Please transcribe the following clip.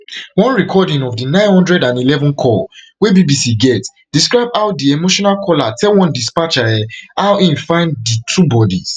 one recording of di nine hundred and eleven call wey bbc get describe how di emotional caller tell one dispatcher um how im find di two bodies